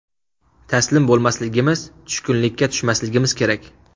Taslim bo‘lmasligimiz, tushkunlikka tushmasligimiz kerak.